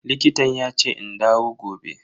Likitan yace in dawo gobe.